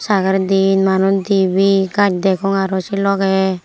saikel diyen manuch dibey gach degong aroo sei logey.